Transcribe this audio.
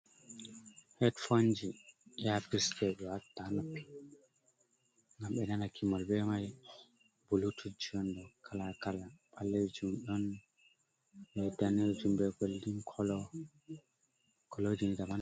Hedfonji iyafis je ɓe watata ha noppi, ngam ɓe nana gimol be mai, bulutujji on kala kala, ɓallejum ɗon, be danejum, be goldin colo, colojini daban daban.